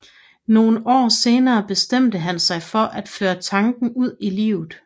Nogle år senere bestemte han sig for at føre tanken ud i livet